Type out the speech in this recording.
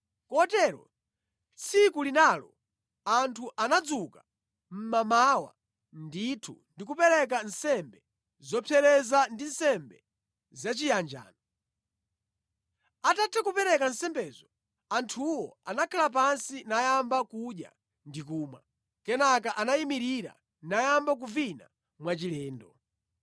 Kotero tsiku linalo anthu anadzuka mmamawa ndithu ndi kupereka nsembe zopsereza ndi nsembe zachiyanjano. Atatha kupereka nsembezo, anthuwo anakhala pansi nayamba kudya ndi kumwa. Kenaka anayimirira nayamba kuvina mwachilendo.